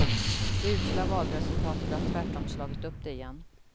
Det usla valresultatet har tvärtom slagit upp det igen.